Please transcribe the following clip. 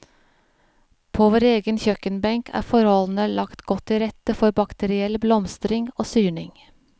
På vår egen kjøkkenbenk er forholdene lagt godt til rette for bakteriell blomstring og syrning.